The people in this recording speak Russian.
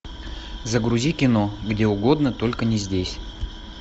загрузи кино где угодно только не здесь